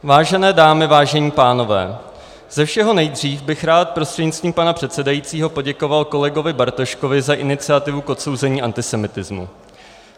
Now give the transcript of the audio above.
Vážené dámy, vážení pánové, ze všeho nejdřív bych rád prostřednictvím pana předsedajícího poděkoval kolegovi Bartoškovi za iniciativu k odsouzení antisemitismu.